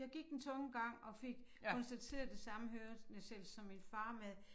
Jeg gik den tunge gang og fik konstateret den samme hørenedsættelse som min far med